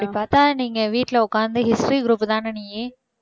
அப்படிப் பார்த்தா நீங்க வீட்ல உக்காந்து history group தான நீ?